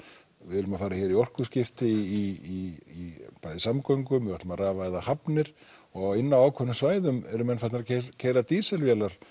við erum að fara hér í orkuskipti í bæði samgöngum og við ætlum að rafvæða hafnir og inni á ákveðnum svæðum eru menn farnir að keyra dísilvélar